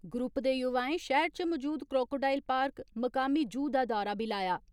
Group दे युवाएं शैहर च मौजूद क्रोकोडाइल पार्क मुकामी जू दा दौरा बी लाया।